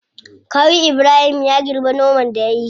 Kawu ibrahim ya girbe noman da yayi.